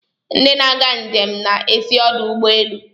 Ndị na-aga njem na-esi ọdụ ụgbọ elu.